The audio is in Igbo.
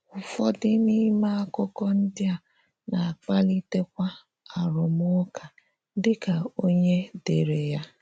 Ụ́fọ̀dị̀ n’íme àkụ́kọ̀ ndị a na-akpálí̄tékwà àrụ́mụ́ká dị ka onye dé̄ré̄ ha.